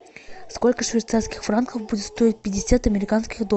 сколько швейцарских франков будет стоить пятьдесят американских долларов